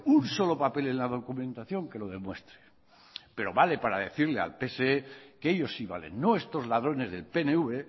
un solo papel en la documentación que lo demuestre pero vale para decirle al pse que ellos sí valen no estos ladrones del pnv